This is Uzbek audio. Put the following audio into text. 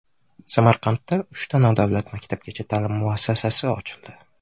Samarqandda uchta nodavlat maktabgacha ta’lim muassasasi ochildi.